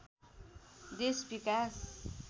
देश विकास